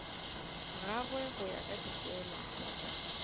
gagwe go ya ka dipeelano